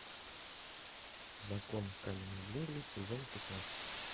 закон каменных джунглей сезон пятнадцать